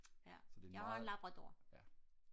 ja jeg har en labrador